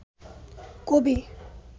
কবি